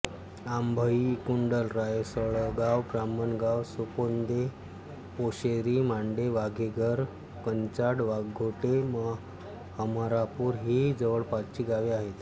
आंभई कुंडल रायसळगाव ब्राह्मणगाव सुपोंदे पोशेरी मांडे वावेघर कंचाड वाघोटे हमरापूर ही जवळपासची गावे आहेत